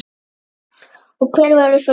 Og hver voru svo launin?